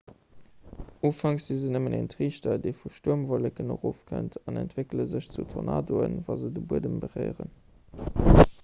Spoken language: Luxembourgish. ufanks si se nëmmen en triichter dee vu stuermwolleken erofkënnt an entwéckele sech zu tornadoen wa se de buedem beréieren